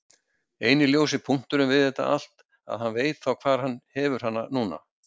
Eini ljósi punkturinn við þetta allt að hann veit þá hvar hann hefur hana núna.